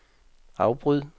afbryd